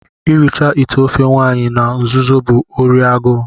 ịracha ite ofe nwanyi na nzuzo bụ órí agụụ